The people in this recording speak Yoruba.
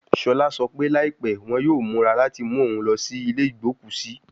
Shola sọ pe laipẹ wọn yoo mura lati mu oun lọ si ile igboku si